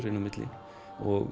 inn á milli